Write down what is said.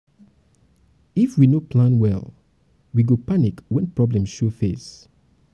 if we no plan well we go panic wen problem show face.